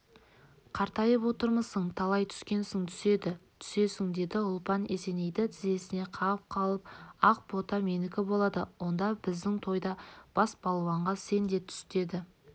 қартайып отырмысың талай түскенсің түседі түсесің деді ұлпан есенейді тізесінен қағып қалып ақ бота менікі болады онда біздің тойда бас балуанға сен де түс деді